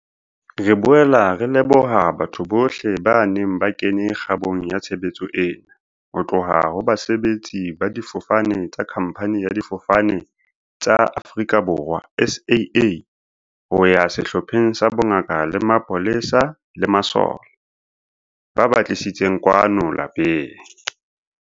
Re boela re leboha batho bohle ba neng ba kene kgabong ya tshebetso ena, ho tloha ho basebetsi ba difofane tsa khamphani ya Difofane tsa Afrika Borwa, SAA, ho ya sehlopheng sa bongaka le mapolesa le masole, ba ba tlisitseng kwano lapeng.